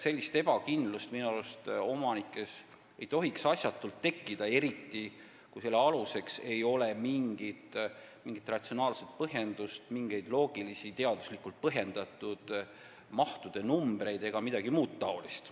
Sellist ebakindlust ei tohiks minu arust omanikes asjatult tekitada, eriti kui selle aluseks ei ole mingi ratsionaalne põhjendus, loogilised, teaduslikult põhjendatud mahunumbrid ega midagi muud taolist.